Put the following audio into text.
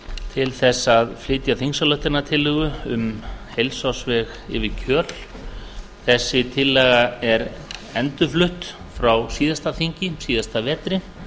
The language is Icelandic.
til þess að flytja þingsályktunartillögu um heilsársveg yfir kjöl þessi tillaga er endurflutt frá síðasta þingi síðasta vetri